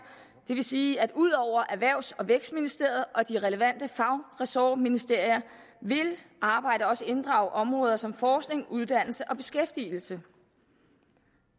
det vil sige at ud over erhvervs og vækstministeriet og de relevante fagressortministerier vil arbejdet også inddrage områder som forskning uddannelse og beskæftigelse